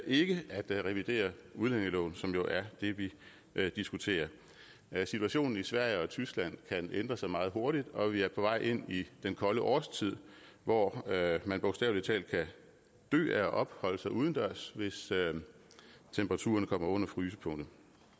ikke at revidere udlændingeloven som jo er det vi diskuterer situationen i sverige og tyskland kan ændre sig meget hurtigt og vi er på vej ind i den kolde årstid hvor man bogstavelig talt kan dø af at opholde sig udendørs hvis temperaturen kommer under frysepunktet